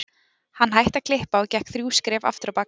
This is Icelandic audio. Hann hætti að klippa og gekk þrjú skref aftur á bak